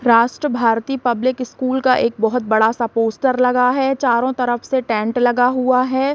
राष्ट्र Bharati public school का एक बहोत बड़ा-सा पोस्टर लगा हुआ है चारो तरफ से टेंट लगा हुआ है।